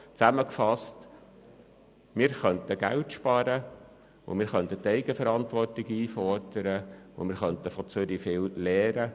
Zusammengefasst könnten wir Geld sparen, die Eigenverantwortung einfordern und viel vom Kanton Zürich lernen.